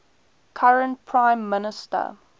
current prime minister